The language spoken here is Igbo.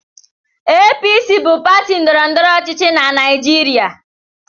APC bụ pati ndọrọndọrọ ọchịchị na Naịjirịa.